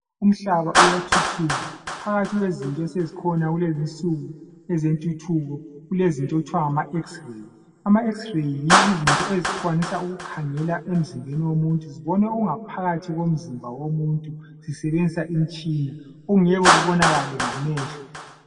Umhlaba uyathuthuka phakathi kwezinto esezikhona kulezinsuku ezentuthuko. Kulezinto okuthwa ngamaX-ray. AmaX-ray yizinto ezikwanisa ukukhangela emzimbeni womuntu zibone okungaphakathi komzimba womuntu zisebenzisa imtshina okungeke kubonakale ngamehlo.